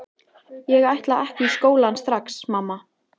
Ég ætla ekki í skólann strax, mamma!